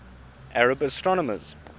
arab astronomers